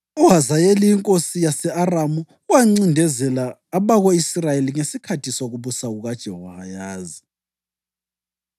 UHazayeli inkosi yase-Aramu wancindezela abako-Israyeli ngesikhathi sokubusa kukaJehowahazi.